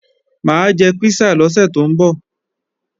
Mà á jẹ písà lọ́sẹ̀ tó ń bọ̀